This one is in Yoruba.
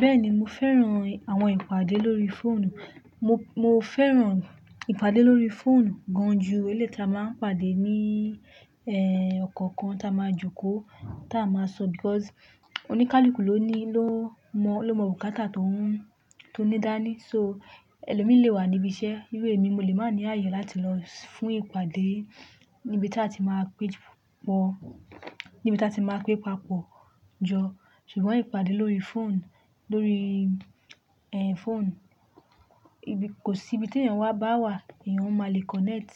Bẹ́ẹ̀ni, mo fẹ́ràn àwọn ìpàdé lórí fóònù. Mo, mo fẹ́ràn ìpàdé lórí fóònù gan ju èlé tí a máa ń pàdé ní, ẹ́, ọkàn kan tí a máa jókòó, tí a máa sọ because oníkálukú ló ní, ló mọ, ló mọ bukátà tó ń, tó ní dání. So, ẹlòmíì lé wà níbi iṣẹ́, ìr émi mo lè má ní àyè láti lọ fún ìpàdé níbi tátì má péjọ, níbi tá ti má pé papọ̀ joo. Ṣùgbọ́n ìpàdé lórí fóònù, lórí, ẹ́, fóònù, kò sí ibi tí èèyàn wá bá wà, èèyàn ó máa le connect,